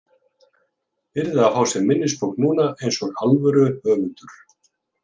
Yrði að fá sér minnisbók núna, eins og alvöru höfundur.